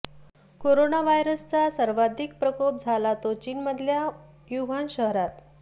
corona व्हायसच सर्वाधिक प्रकोप झाला तो चीनमधल्या वुहान शहरात